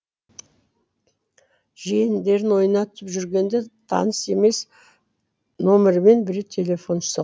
жиендерін ойнатып жүргенде таныс емес номермен біреу телефон соқты